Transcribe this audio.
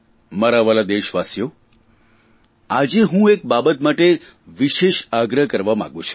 મારા વ્હાલા દેશવાસીઓ આજે હું એક બાબત માટે વિશેષ આગ્રહ કરવા માગું છું